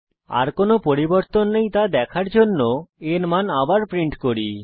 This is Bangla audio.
আর কোনো পরিবর্তন নেই তা দেখার জন্য a এর মান আবার প্রিন্ট করি